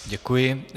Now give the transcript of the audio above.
Děkuji.